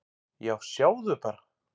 """Já, sjáðu bara!"""